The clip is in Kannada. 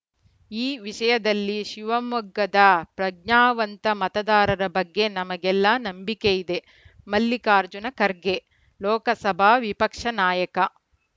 ಈ ವಿಷಯದಲ್ಲಿ ಶಿವಮೊಗ್ಗದ ಪ್ರಜ್ಞಾವಂತ ಮತದಾರರ ಬಗ್ಗೆ ನಮಗೆಲ್ಲ ನಂಬಿಕೆಯಿದೆ ಮಲ್ಲಿಕಾರ್ಜುನ ಖರ್ಗೆ ಲೋಕಸಭಾ ವಿಪಕ್ಷ ನಾಯಕ